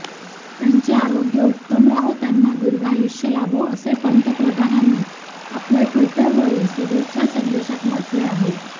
त्यांचे आरोग्य उत्तम राहो त्यांना दीर्घायुष्य लाभो असे पंतप्रधानांनी आपल्या टि्वटरवरील शुभेच्छा संदेशात म्हटले आहे